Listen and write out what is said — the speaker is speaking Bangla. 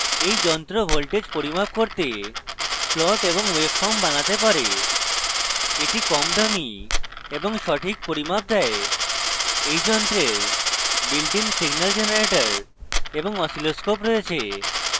এই যন্ত্র voltages পরিমাপ করতে plots এবং ওয়েবফর্ম বানাতে পারে